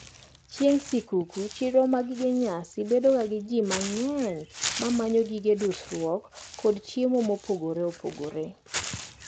Chieng` sikuku, chiro mar gige nyasi bedoga gi jii mang`eny mamanyo gig dusruok kod chiemo mopogre opogre.